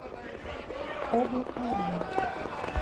облако рай